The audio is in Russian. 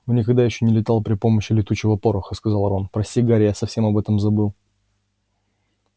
он никогда ещё не летал при помощи летучего пороха сказал рон прости гарри я совсем об этом забыл